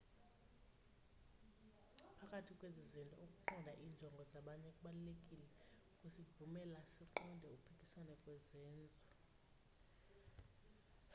phakathi kwezi zinto ukuqonda iinjongo zabanye kubalulekile kusivumela siqonde ukuphikisana kwezenzo